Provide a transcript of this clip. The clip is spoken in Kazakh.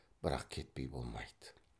бірақ кетпей болмайды